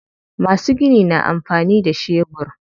Masu gini na amfani da shebur.